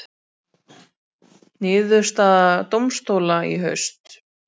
Niðurstaða dómstóla í haust